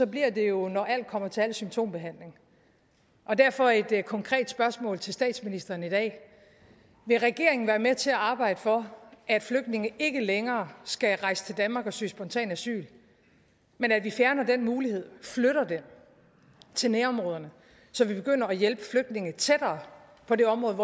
bliver det jo når alt kommer til alt symptombehandling derfor et konkret spørgsmål til statsministeren i dag vil regeringen være med til at arbejde for at flygtninge ikke længere skal rejse til danmark og søge om spontan asyl men at vi fjerner den mulighed flytter dem til nærområderne så vi begynder at hjælpe flygtninge tættere på det område